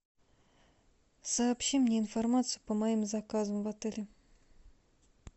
сообщи мне информацию по моим заказам в отеле